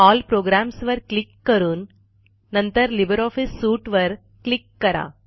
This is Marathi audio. एल प्रोग्राम्स वर क्लिक करून नंतर लिब्रिऑफिस सूट वर क्लिक करा